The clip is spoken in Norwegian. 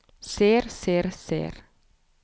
ser ser ser